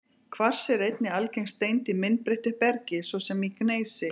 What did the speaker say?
Kvars er einnig algeng steind í myndbreyttu bergi, svo sem í gneisi.